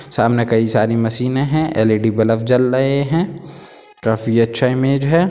सामने कई सारी मशीने है एल_ई_डी बलब जल रहे है काफी अच्छा इमेज है।